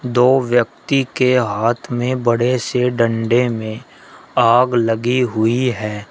दो व्यक्ति के हाथ में बड़े से डंडे में आग लगी हुई है।